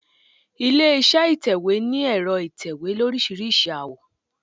Ilé iṣẹ́ ìtẹ̀wẹ́ ní ẹ̀rọ ìtẹ̀wé olóríṣiríṣi àwọ̀.